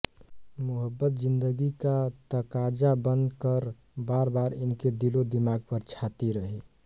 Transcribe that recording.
मुहब्बत ज़िंदगी का तक़ाज़ा बन कर बारबार इनके दिलोदिमाग़ पर छाती रही